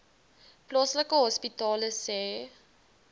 plaaslike hospitale sê